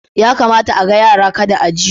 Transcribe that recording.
Ya kamata a ga yara kada a ji su